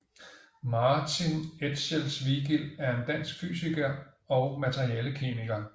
Martin Etchells Vigild er en dansk fysiker og materialekemiker